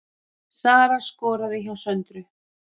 Sara skoraði hjá Söndru